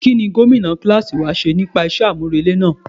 Kí ni Gómìnà kíláàsì wa sọ nípa iṣẹ́ àmúrelé náà?